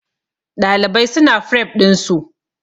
Ɗalibai su na fref ɗin su